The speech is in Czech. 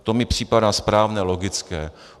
To mi připadá správné, logické.